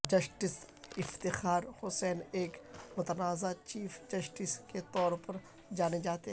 justice Iftikhar Hussain ایک متنازعہ chief justice کے طور پر جانے جاتے ہیں